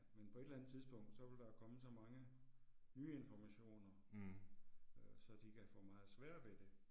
Men på et eller andet tidspunkt så vil der komme så mange nye informationer, øh så de kan få meget sværere ved det